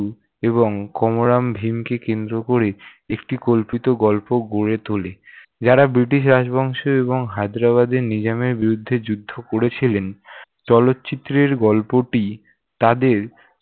এবং কমরাম ভীমকে কেন্দ্র করে একটি কল্পিত গল্প গড়ে তোলে, যারা ব্রিটিশ রাজবংশ এবং হায়দ্রাবাদের নিজামের বিরুদ্ধে যুদ্ধ করেছিলেন। চলচ্চিত্রের গল্পটি তাদের